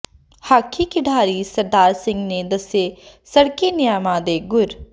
hockey ਖਿਡਾਰੀ ਸਰਦਾਰ ਸਿੰਘ ਨੇ ਦੱਸੇ ਸੜਕੀ ਨਿਯਮਾਂ ਦੇ ਗੁਰ